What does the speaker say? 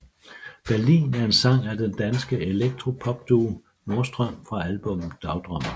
Berlin er en sang af den danske elektropopduo Nordstrøm fra albummet Dagdrømmer